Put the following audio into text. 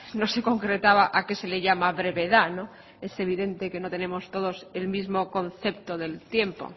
no se concretaba a qué se le llama brevedad es evidente que no tenemos todos el mismo concepto del tiempo